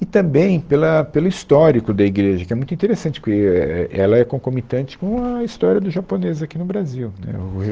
E também pela pelo histórico da igreja, que é muito interessante, porque é é ela é concomitante com a história do japonês aqui no Brasil. Né o o